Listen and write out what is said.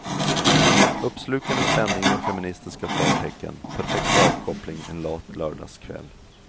Uppslukande spänning med feministiska förtecken, perfekt avkoppling en lat lördagskväll.